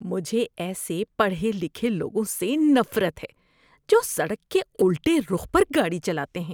مجھے ایسے پڑھے لکھے لوگوں سے نفرت ہے جو سڑک کے الٹے رخ پر گاڑی چلاتے ہیں۔